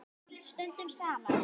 Stöndum saman.